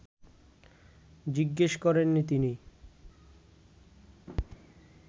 জিজ্ঞেস করেননি তিনি